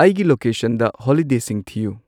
ꯑꯩꯒꯤ ꯂꯣꯀꯦꯁꯟꯗ ꯍꯣꯂꯤꯗꯦꯁꯤꯡ ꯊꯤꯌꯨ